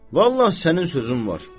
vallah sənin sözün var.